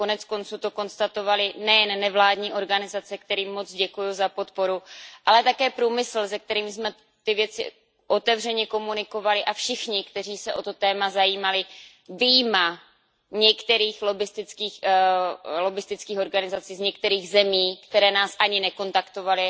Koneckonců to konstatovali nejen nevládní organizace, kterým moc děkuju za podporu, ale také průmysl, se kterým jsme o těch věcech otevřeně komunikovali, a všichni, kteří se o to téma zajímali, vyjma některých lobbistických organizací z některých zemí, které nás ani nekontaktovaly,